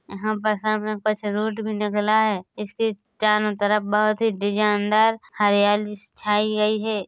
यहाँ पर सामने के पास से रोड भी निकला है इसके चारों तरफ बहुत ही डिजाइनदार हरियाली सी छाई गई है।